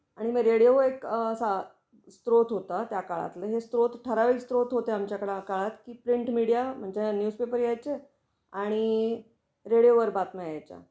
आणि मग रेडिओ वर एक अ असा स्रोत होता त्या काळातला. हे स्रोत ठरावीक स्रोत होते आमच्या कडे काळात कि प्रिंट मिडिया म्हणजे ह्या न्यूजपेपर यायचे आणि रेडिओ वर बातम्या यायच्या.